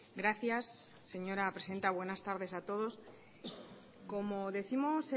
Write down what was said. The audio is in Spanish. gracias señora presidenta buenas tardes a todos como décimos